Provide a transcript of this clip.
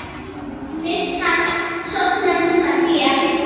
Fyrst hann sofnaði núna hér.